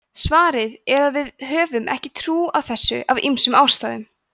svarið er að við höfum ekki trú á þessu af ýmsum ástæðum